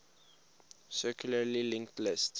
circularly linked list